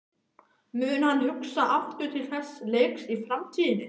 Mun hann hugsa aftur til þessa leiks í framtíðinni?